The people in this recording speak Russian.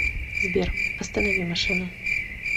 сбер останови машину